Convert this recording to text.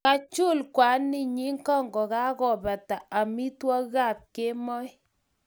Ka chul kwaninyu kokakobata amitwagik ab kemoi